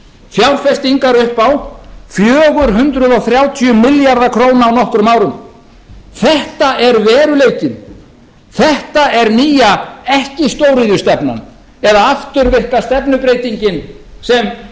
fjárfestingar upp á fjögur hundruð þrjátíu milljarða króna á nokkrum árum þetta er veruleikinn þetta er nýja ekki stóriðjustefnan eða afturvirka stefnubreytingin sem iðnaðarráðherra og nú